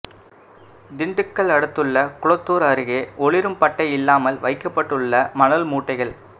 திண்டுக்கல் அடுத்துள்ள குளத்தூா் அருகே ஒளிரும் பட்டை இல்லாமல் வைக்கப்பட்டுள்ள மணல் மூட்டைகள்